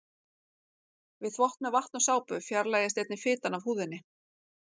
Við þvott með vatni og sápu fjarlægist einnig fitan af húðinni.